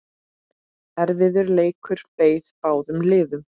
Erfiður leikur beið báðum liðum.